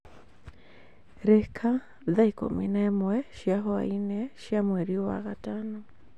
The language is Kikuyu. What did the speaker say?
Rika thaa ikũmi na ĩmwe cia hwaĩinĩ cia mweri wa gatano